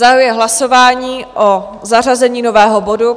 Zahajuji hlasování o zařazení nového bodu.